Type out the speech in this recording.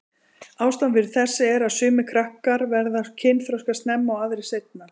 Ástæðan fyrir þessu er að sumir krakkar verða kynþroska snemma og aðrir seinna.